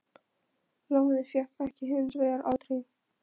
Lánið fékk ég hins vegar aldrei.